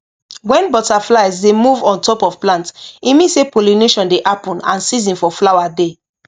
when butterflies dey move on top of plant e mean say pollination dey happen and season for flower dey